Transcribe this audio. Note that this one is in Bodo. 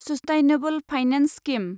sustainable finance scheme